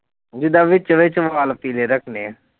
ਜਿੱਦਾਂ ਵਿੱਚ ਵਿੱਚ ਵਾਲ ਪੀਲੇ ਰੱਖਣੇ ਆਂ